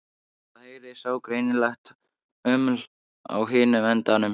Það heyrist ógreinilegt uml á hinum endanum.